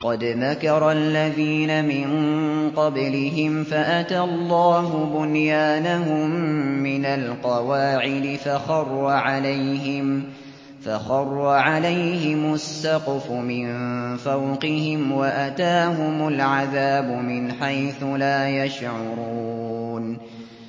قَدْ مَكَرَ الَّذِينَ مِن قَبْلِهِمْ فَأَتَى اللَّهُ بُنْيَانَهُم مِّنَ الْقَوَاعِدِ فَخَرَّ عَلَيْهِمُ السَّقْفُ مِن فَوْقِهِمْ وَأَتَاهُمُ الْعَذَابُ مِنْ حَيْثُ لَا يَشْعُرُونَ